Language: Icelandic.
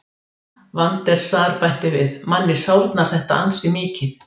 Van der Sar bætti við: Manni sárnar þetta ansi mikið.